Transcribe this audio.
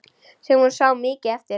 Sem hún sá mikið eftir.